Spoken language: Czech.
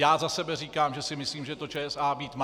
Já za sebe říkám, že si myslím, že to ČSA být má.